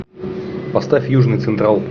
поставь южный централ